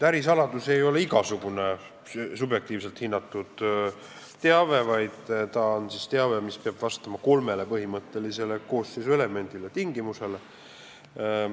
Ärisaladus ei ole igasugune subjektiivselt hinnatud teave, vaid teave, mis peab vastama kolmele põhimõttelisele koosseisu elemendile või tingimusele.